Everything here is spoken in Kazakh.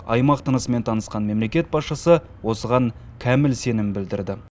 аймақ тынысымен танысқан мемлекет басшысы осыған кәміл сенім білдірді